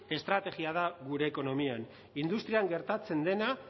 estrategia da gure ekonomian industrian gertatzen dena